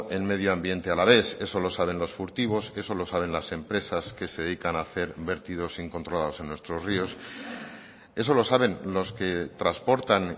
el medio ambiente alavés eso lo saben los furtivos eso lo saben las empresas que se dedican a hacer vertidos incontrolados en nuestros ríos eso lo saben los que transportan